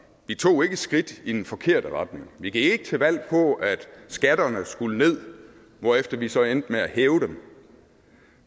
vi tog ikke skridt i den forkerte retning vi gik ikke til valg på at skatterne skulle ned hvorefter vi så endte med at hæve dem